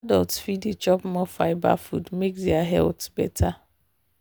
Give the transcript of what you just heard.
adults fit dey chop more fibre food make their health better.